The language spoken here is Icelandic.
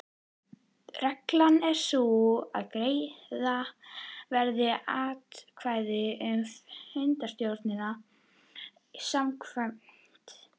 Reglan er sú að greiða verður atkvæði um fundarstjóra samkvæmt